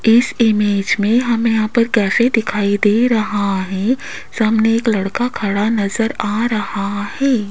इस इमेज में हमें यहां पे कैफे दिखाई दे रहा है सामने एक लड़का खड़ा नजर आ रहा है।